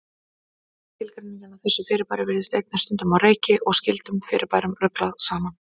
Skilgreiningin á þessu fyrirbæri virðist einnig stundum á reiki og skyldum fyrirbærum ruglað saman.